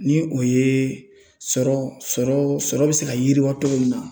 Ni o ye sɔrɔ sɔrɔ sɔrɔ bɛ se ka yiriwa togo min na